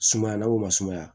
Sumaya na o ma sumaya